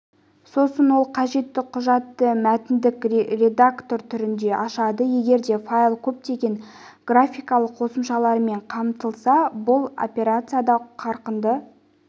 сосын ол қажетті құжатты мәтіндік редактор түрінде ашады егер де файл көптеген графикалық қосымшалармен қамтылса бұл операцияда қарқынды